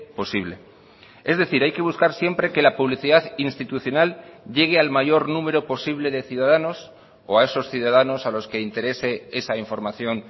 posible es decir hay que buscar siempre que la publicidad institucional llegue al mayor número posible de ciudadanos o a esos ciudadanos a los que interese esa información